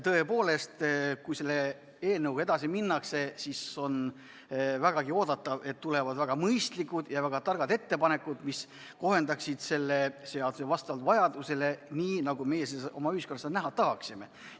Tõepoolest, kui selle eelnõuga edasi minnakse, siis on oodata, et tulevad väga mõistlikud ja targad ettepanekud, mis kohendaksid seda seadust vastavalt vajadusele, nii nagu meie seda oma ühiskonnas näha tahaksime.